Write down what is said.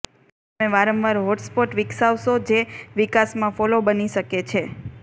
તમે વારંવાર hotspot વિકસાવશો જે વિકાસમાં ફોલ્લો બની શકે છે